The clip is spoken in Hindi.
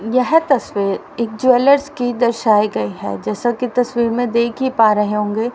यह तस्वीर एक ज्वेलर्स की दर्शाइ गई है। जैसा की तस्वीर में देखा ही पा रहे होंगे।